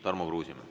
Tarmo Kruusimäe.